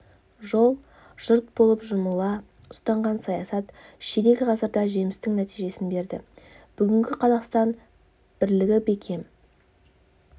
жол жұрт болып жұмыла ұстанған саясат ширек ғасырда жемісті нәтижесін берді бүгінгі қазақстан бірлігі бекем